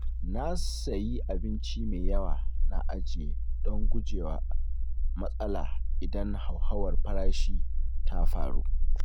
Na sayi abinci me yawa na ajiye don gujewa matsala idan hauhawar farashi ta faru.